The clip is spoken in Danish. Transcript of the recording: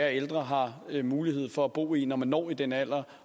ældre har mulighed for at bo i dem når man når den alder